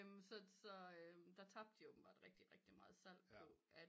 Så der tabe de åbenbart rigtig rigtig meget salg på at